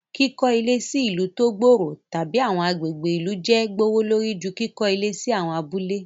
Kiko ile si ilu to gbooro tabi awọn agbegbe ilu jẹ gbowolori ju kikọ ile si awon abule